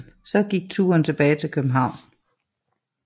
Så gik turen tilbage til København